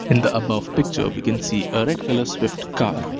In the above picture we can see a red colour swift car.